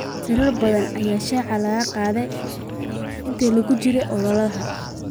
Siro badan ayaa shaaca laga qaadaa inta lagu jiro ololaha.